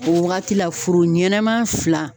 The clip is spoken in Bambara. O wagati la foro ɲɛnɛman fila